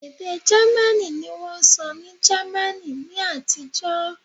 ede jamaní ni wón n sọ ni jamaní ni àtijó